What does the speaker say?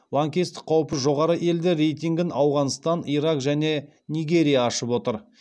лаңкестік қаупі жоғары елдер рейтингін ауғанстан ирак және нигерия ашып отыр